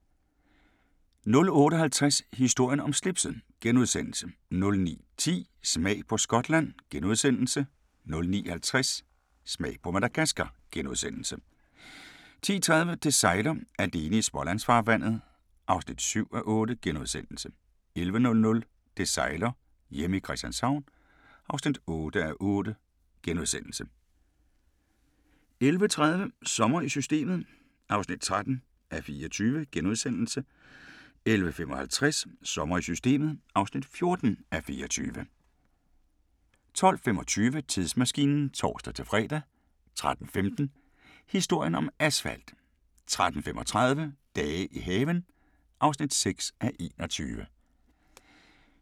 08:50: Historien om slipset * 09:10: Smag på Skotland * 09:50: Smag på Madagaskar * 10:30: Det sejler - alene i Smålandsfarvandet (7:8)* 11:00: Det sejler - hjemme i Christianshavn (8:8)* 11:30: Sommer i Systemet (13:24)* 11:55: Sommer i Systemet (14:24) 12:25: Tidsmaskinen (tor-fre) 13:15: Historien om asfalt 13:35: Dage i haven (6:21)*